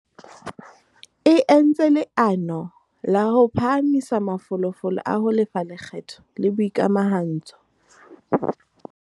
E entse leano la ho phahamisa mafolofolo a ho lefa lekgetho le boikamahantso.